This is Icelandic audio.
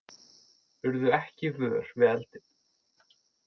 Urðu ekki vör við eldinn